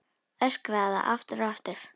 Öskraði það aftur og aftur.